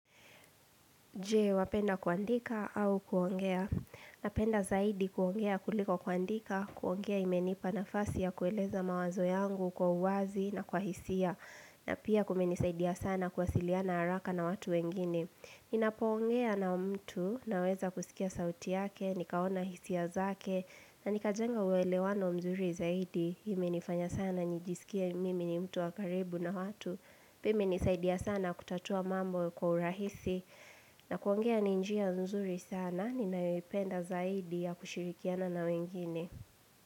Je, wapenda kuandika au kuongea. Napenda zaidi kuongea kuliko kuandika, kuongea imenipa nafasi ya kueleza mawazo yangu kwa uwazi na kwa hisia. Na pia kuminisaidia sana kuwasiliana haraka na watu wengine. Ninapoongea na mtu naweza kusikia sauti yake, nikaona hisia zake, na nikajenga uwelewano mzuri zaidi. Ime nifanya sana nijisikie mimi ni mtu wa karibu na watu. Pia imenisaidia sana kutatua mambo kwa urahisi. Na kuongea ni njia nzuri sana, ninayoipenda zaidi ya kushirikiana na wengine.